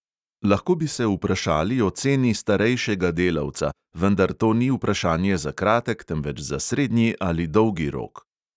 Lahko bi se vprašali o ceni starejšega delavca, vendar to ni vprašanje za kratek, temveč za srednji ali dolgi rok.